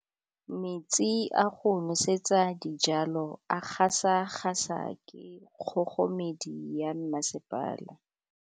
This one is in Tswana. Metsi a go nosetsa dijalo a gasa gasa ke kgogomedi ya masepala.